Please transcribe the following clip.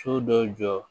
So dɔ jɔ